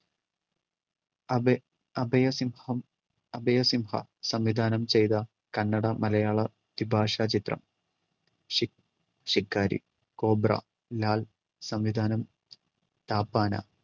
അഭ അഭയ സിംഹം അഭയ സിംഹം സംവിധാനം ചെയ്ത കന്നട മലയാളം ദ്വി ഭാഷാ ചിത്രം ശി~ശിക്കാരി, കോബ്ര ലാൽ സംവിധാനം താപ്പാന.